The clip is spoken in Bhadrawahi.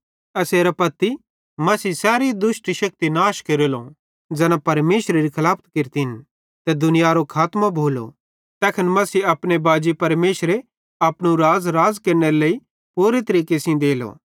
एसेरां पत्ती मसीह सैरी दुष्ट शेक्ति नाश केरेलो ज़ैना परमेशरेरी खलाफत केरतिन ते दुनियारो खातमों भोलो तैखन मसीह अपने बाजी परमेशर अपनू राज़ राज़ केरनेरे लेइ पूरे तरीके सेइं देलो